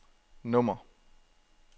nummer